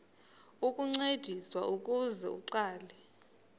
ukuncediswa ukuze aqale